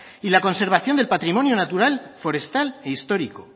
y la conservación del patrimonio natural forestal e histórico